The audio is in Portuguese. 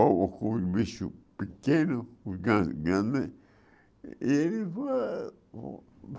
ou ou com um bicho pequeno, gran grande, e ele foi